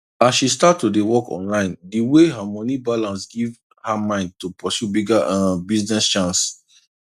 as she start to dey work online the way her moni balance give her mind to pursue bigger um business chance